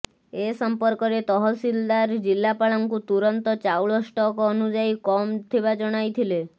ଏ ସମ୍ପର୍କରେ ତହସିଲଦାର ଜିଲ୍ଲାପାଳଙ୍କୁ ତୁରନ୍ତ ଚାଉଳ ଷ୍ଟକ ଅନୁଯାଇ କମ ଥିବା ଜଣାଇଥିଲେ